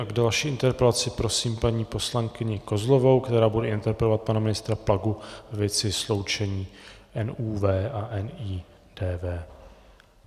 A k další interpelaci prosím paní poslankyni Kozlovou, která bude interpelovat pana ministra Plagu ve věci sloučení NÚV a NIDV.